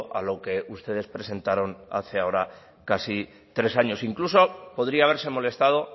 a lo que ustedes presentaron hace ahora casi tres años incluso podría haberse molestado